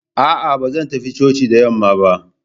A'a, ba zan tafi coci da yamma ba.